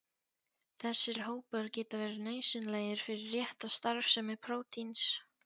Þessir hópar geta verið nauðsynlegir fyrir rétta starfsemi prótíns.